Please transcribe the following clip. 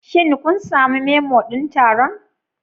Shin kun sami Memo din taron?